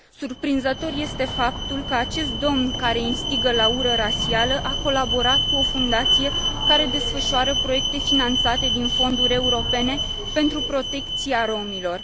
Surprinzător este faptul că acest domn care instigă la ură rasială a colaborat cu o fundație care desfășoară proiecte finanțate din fonduri europene pentru protecția romilor.